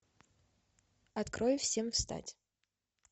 открой всем встать